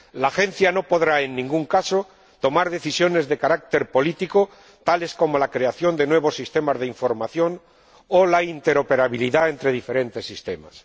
La Agencia no podrá, en ningún caso, tomar decisiones de carácter político, tales como la creación de nuevos sistemas de información o la interoperabilidad entre diferentes sistemas.